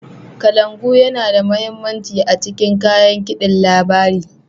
kalangu Yana da mahimmanci a cikin kayan kidin labari.